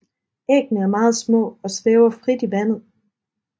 Æggene er meget små og svæver frit i vandet